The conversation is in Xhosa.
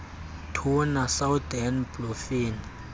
tuna southern bluefin